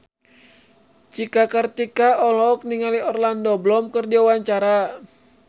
Cika Kartika olohok ningali Orlando Bloom keur diwawancara